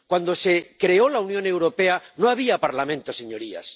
Cuando se creó la Unión Europea no había Parlamento, señorías.